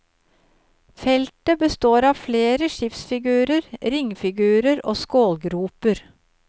Feltet består av flere skipsfigurer, ringfigurer og skålgroper.